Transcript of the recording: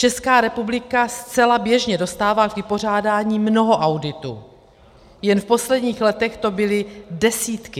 Česká republika zcela běžně dostává k vypořádání mnoho auditů, jen v posledních letech to byly desítky.